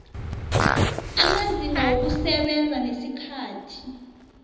amazinga wokusebenza nesikhathi